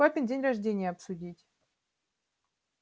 папин день рождения обсудить